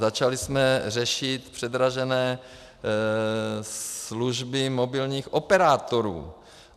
Začali jsme řešit předražené služby mobilních operátorů.